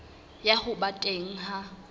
ya ho ba teng ha